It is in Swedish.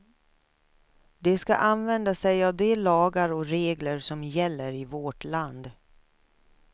De ska använda sig av de lagar och regler som gäller i vårt land.